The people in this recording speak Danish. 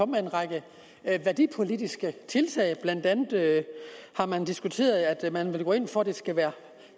med en række værdipolitiske tiltag blandt andet har man diskuteret at man vil gå ind for at flermanderi skal være